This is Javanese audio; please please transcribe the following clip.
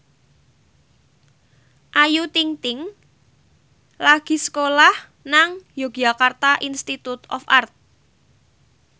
Ayu Ting ting lagi sekolah nang Yogyakarta Institute of Art